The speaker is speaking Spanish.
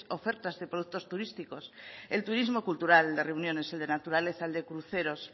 ofertas de productos turísticos el turismo cultural de reuniones el de naturaleza el de cruceros